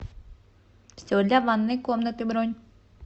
все для ванной комнаты бронь